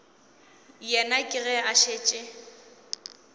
yena ke ge a šetše